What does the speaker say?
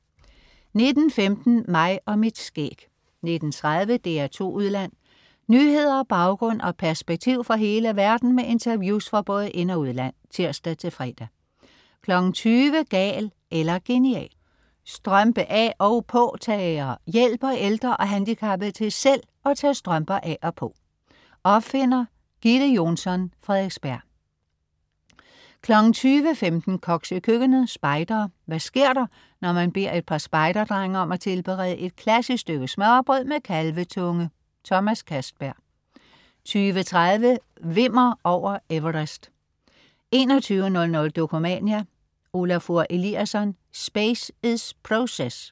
19.15 Mig og mit skæg 19.30 DR2 Udland. Nyheder, baggrund og perspektiv fra hele verden med interviews fra både ind og udland (tirs-fre) 20.00 Gal eller genial. Strømpe af, og påtager: Hjælper ældre og handicappede til selv at tage strømper af og på. Opfinder: Gitte Jonsson, Frederiksberg 20.15 Koks i køkkenet. Spejdere. Hvad sker der, når man beder et par spejderdrenge om at tilberede et klassisk stykke smørrebrød med kalvetunge? Thomas Castberg 20.30 Wimmer over Everest 21.00 Dokumania: Olafur Eliasson: Space is Process